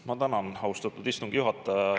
Ma tänan, austatud istungi juhataja!